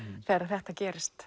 þegar þetta gerist